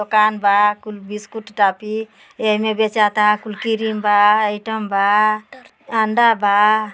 दुकान बा। Biscuit toffee एमे बेचा ता। कुल किरीम बा। आइटम बा अंडा बा।